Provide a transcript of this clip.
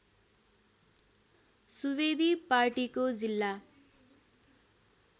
सुवेदी पार्टीको जिल्ला